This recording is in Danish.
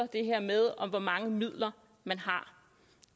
det her med hvor mange midler man har